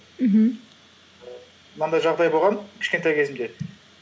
мхм мынандай жағдай болған кішкентай кезімде